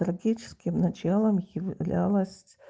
эротическим началом являлось